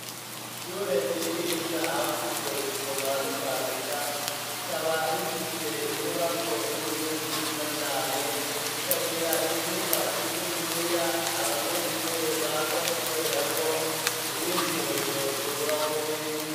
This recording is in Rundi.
Ishure ryigisha abakuze, gusoma n'ukwandika, rikaba rifise inyubako nini, nziza cane, ikagira icumba kininiya, abanyeshure baza gukoreramwo, imyitozo ngororamubiri.